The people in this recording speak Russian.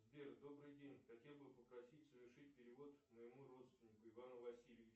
сбер добрый день хотел бы попросить совершить перевод моему родственнику ивану васильевичу